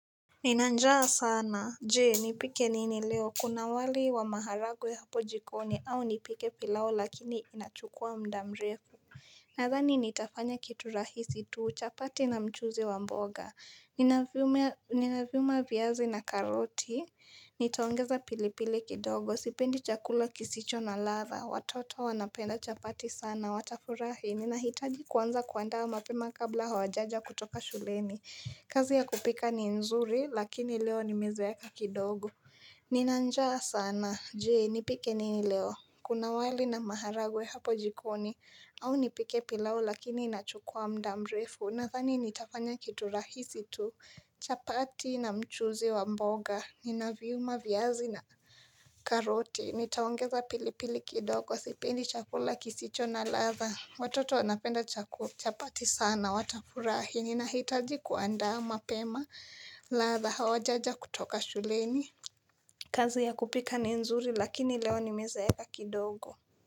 Nina njaa sana, je, nipike nini leo? Kuna wali wa maharagwe ya hapo jikoni, au nipike pilau, lakini inachukua muda mrefu Nadhani nitafanya kitu rahisi tu, chapati na mchuzi wa mboga Ninavyuma viazi na karoti Nitaongeza pilipili kidogo, sipendi chakula kisicho na ladha. Watoto wanapenda chapati sana, watafurahi. Ninahitaji kuanza kuandaa mapema kabla hawajaja kutoka shuleni kazi ya kupika ni nzuri, lakini leo nimezeeka kidogo Nina njaa sana, je, nipike nini leo? Kuna wali na maharagwe hapo jikoni, au nipike pilau lakini inachukua muda mrefu. Nadhani nitafanya kitu rahisi tu, chapati na mchuzi wa mboga. Nina viuma viazi na karoti. Nitaongeza pili pili kidogo, sipendi chakula kisicho na ladha. Watoto wanapenda chapati sana, watafurahi. Ninahitaji kuandaa mapema, ladha hawajaja kutoka shuleni. Kazi ya kupika ni nzuri, lakini leo ni mezeeka kidogo.